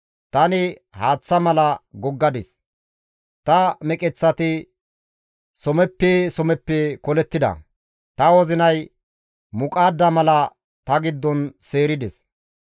Tani haaththa mala goggadis; ta meqeththati someppe someppe kolettida. Ta wozinay muqaadda mala ta giddon seerides.